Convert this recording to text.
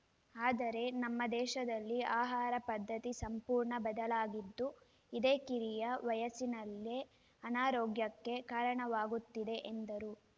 ಆದರೆ ನಮ್ಮ ದೇಶದಲ್ಲಿ ಆಹಾರ ಪದ್ಧತಿ ಸಂಪೂರ್ಣ ಬದಲಾಗಿದ್ದು ಇದೇ ಕಿರಿಯ ವಯಸ್ಸಿನಲ್ಲೇ ಅನಾರೋಗ್ಯಕ್ಕೆ ಕಾರಣವಾಗುತ್ತಿದೆ ಎಂದರು